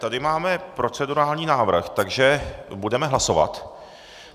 Tady máme procedurální návrh, takže budeme hlasovat.